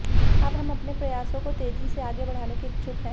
अब हम अपने प्रयासों को तेजी से आगे बढ़ाने के इच्छुक हैं